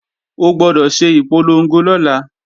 O gbọdọ̀ ṣe ìpolongo lọ́la!